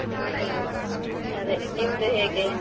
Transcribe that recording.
ಹ್ಮ್ ಅದೇ ನಿಮ್ದು ಹೇಗೆ?